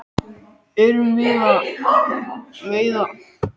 Erum við að veiða allt of mikið af loðnu?